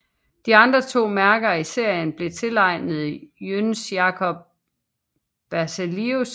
De andre to mærker i serien blev tilegnet Jöns Jacob Berzelius